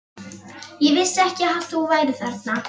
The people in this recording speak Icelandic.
Ég vissi ekki að þú værir þarna.